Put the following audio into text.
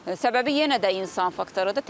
Səbəbi yenə də insan faktorudur.